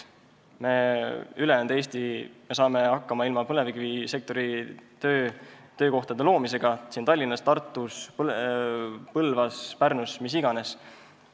Ülejäänud Eesti saab hakkama töökohtade loomisega Tallinnas, Tartus, Põlvas, Pärnus või kus iganes.